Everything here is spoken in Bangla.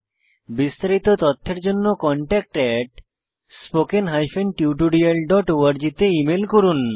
বিস্তারিত তথ্যের জন্য contactspoken tutorialorg তে ইমেল করুন